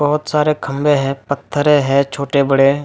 बहुत सारे खंभे हैं पत्थरें हैं छोटे-बड़े।